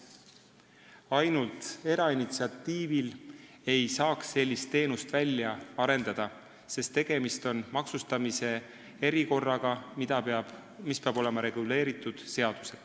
Ainult erainitsiatiivil ei saaks sellist teenust välja arendada, sest tegemist on maksustamise erikorraga, mis peab olema seadusega reguleeritud.